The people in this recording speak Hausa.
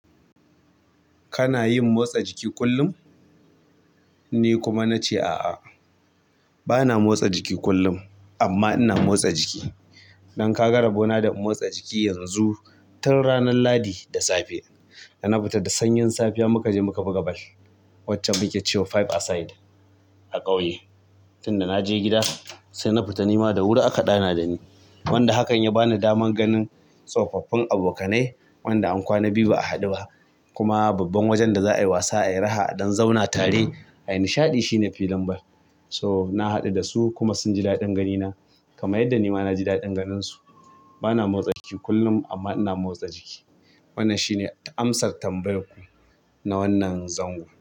Kana yin motsa jiki kullum? Ni kuma na ce a'a, bana motsa jiki kullum amma ina motsa jiki. Don ka ga rabo na da motsa jiki yanzu, tun ranar lahadi da safe, da na fita da sanyin safiya muka je muka buga ball, wacce muke cewa five a side a ƙauye. Tin da na je gida, sai na fita nima da wuri aka ɗana da ni. Wanda hakan ya bani damar ganin tsofaffin abokanai wanda an kwana biyu ba'a haɗu ba kuma babban wajen da za a yi wasa, a yi raha a dan zauna tare, a yi nishaɗi shine filin ball. So, na haɗu da su kuma sun ji daɗin ganina kamar yadda nima na ji daɗin ganinsu. Bana motsa jiki kullum amma ina motsa jiki. Wannan shi ne amsar tambayar ku na wannan zango.